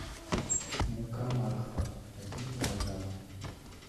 мука макфа один килограмм